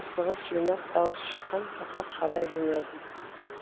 асығыс жинап дауыс шыққан жаққа қарай жөнелдім